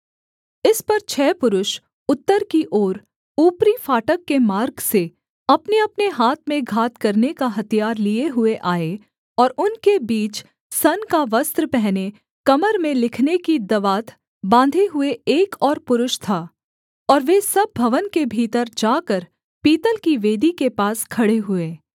इस पर छः पुरुष उत्तर की ओर ऊपरी फाटक के मार्ग से अपनेअपने हाथ में घात करने का हथियार लिए हुए आए और उनके बीच सन का वस्त्र पहने कमर में लिखने की दवात बाँधे हुए एक और पुरुष था और वे सब भवन के भीतर जाकर पीतल की वेदी के पास खड़े हुए